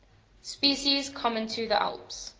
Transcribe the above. species common to the alps